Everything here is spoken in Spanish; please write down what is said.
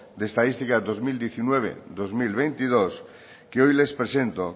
de estadística dos mil diecinueve dos mil veintidós que hoy les presento